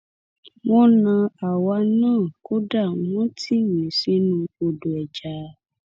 wọn na àwa náà kódà wọn tì mí sínú odò ẹja